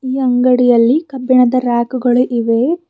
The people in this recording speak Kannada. ಈ ಅಂಗಡಿಯಲ್ಲಿ ಕಬ್ಬಿಣದ ರ್ಯಾಕ್ ಗಳು ಇವೆ.